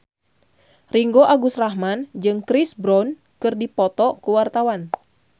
Ringgo Agus Rahman jeung Chris Brown keur dipoto ku wartawan